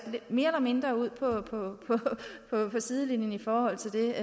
mere eller mindre ud på på sidelinjen i forhold til